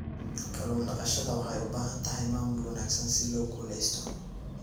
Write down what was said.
Kallun daqashada waxay u baahan tahay maamul wanaagsan si loo guuleysto.